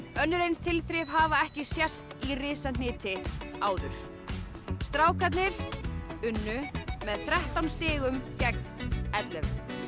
önnur eins tilþrif hafa ekki sést í risahniti áður strákarnir unnu með þrettán stigum gegn ellefu